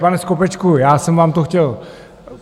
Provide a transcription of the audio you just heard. Pane Skopečku, já jsem vám to chtěl...